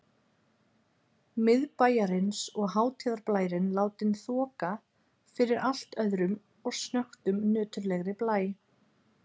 Miðbæjarins og hátíðarblærinn látinn þoka fyrir allt öðrum og snöggtum nöturlegri blæ.